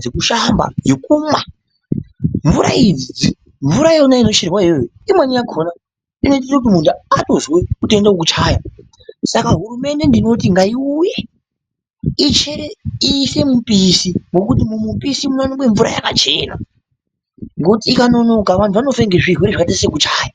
dzekushamba ,mvura yekumwa, yekubika ,mvura idzi, mvurayo yona inocherwa iyoyo imweni yakona inoite kuti munhu atozwe kude kuchaya saka ndinoti hurumende ngaiuye ichere, ise mupisi ngekuti mumupisi munoonekwe mvura yakachena ngekuti ikanonoka anhu anofa ngezvirwere zvakaite sekuchaya.